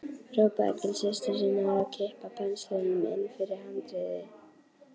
Hrópaði til systur sinnar að kippa penslinum inn fyrir handriðið.